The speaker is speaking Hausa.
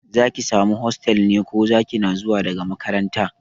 Za ki samu hostel ne ko Zaki na zuwa daga makaranta?